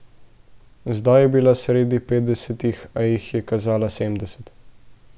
Zdaj je bila sredi petdesetih, a jih je kazala sedemdeset.